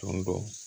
Tɔn bɔ